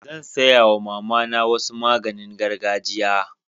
Zan saya wa mama na wasu maganin gargajia.